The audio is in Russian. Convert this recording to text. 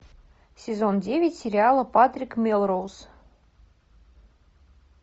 сезон девять сериала патрик мелроуз